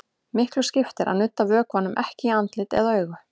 Miklu skiptir að nudda vökvanum ekki í andlit eða augu.